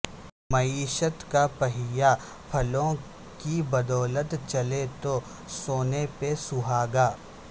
معیشت کا پہیہ پھلوں کی بدولت چلے تو سونے پہ سہاگہ